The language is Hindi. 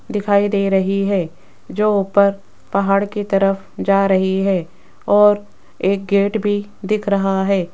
दिखाई दे रही है जो ऊपर पहाड़ की तरफ जा रही है और एक गेट भी दिख रहा है।